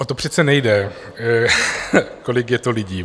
O to přece nejde , kolik je to lidí.